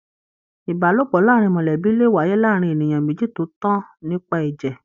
Ìbálòpọ̀ láàrín mọlẹbi le wáyé láàárín ènìyàn méjì tó tan nípa ẹjẹ.